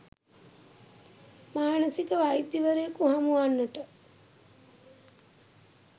මානසික වෛද්‍යවරයකු හමු වන්නට